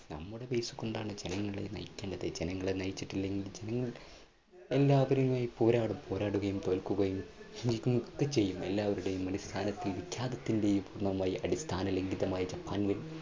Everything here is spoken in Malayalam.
നമ്മുടെ പൈസ കൊണ്ടാണ് ജനങ്ങളെ നയിക്കേണ്ടത്. ജനങ്ങളെ നയിച്ചിട്ടില്ലെങ്കിൽ ജനങ്ങൾ എല്ലാവരുമായി പോരാടും, പോരാടുകയും തോൽക്കുകയും ഒക്കെ ചെയ്യും എല്ലാവരുടെയും അടിസ്ഥാനത്തിന്റെയും വിഖ്യാതത്തിന്റെയും അടിസ്ഥാന ലംഘിതമായ ജപ്പാനിലും